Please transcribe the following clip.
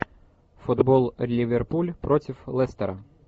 футбол ливерпуль против лестера